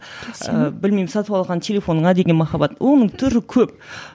ііі білмеймін сатып алған телефоныңа деген махаббат оның түрі көп